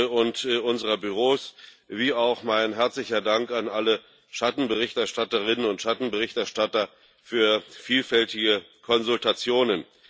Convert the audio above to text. und unserer Büros an wie auch meinen herzlichen Dank an alle Schattenberichterstatterinnen und Schattenberichterstatter für vielfältige Konsultationen.